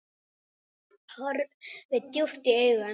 Horfi djúpt í augu hans.